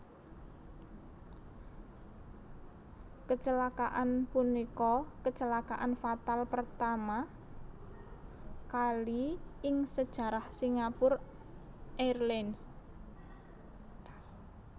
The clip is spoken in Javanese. Kecelakaan punika kecelakaan fatal pertama kali ing sejarah Singapore Airlines